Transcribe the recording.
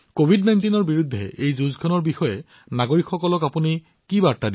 কভিড১৯ৰ বিৰুদ্ধে এই যুঁজত নাগৰিকসকলৰ বাবে আপোনাৰ বাৰ্তা কি